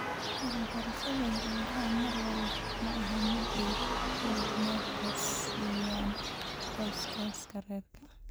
Waxbarashada gabdhaha mar walba ma ahan mid ay mudnaanta siiyaan qoysaska rer .